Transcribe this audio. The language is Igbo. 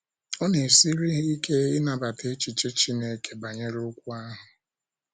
Ọ na - esiri ha ike ịnabata echiche Chineke banyere okwu ahụ.